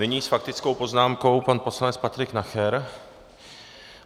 Nyní s faktickou poznámkou pan poslanec Patrik Nacher.